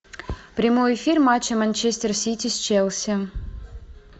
прямой эфир матча манчестер сити с челси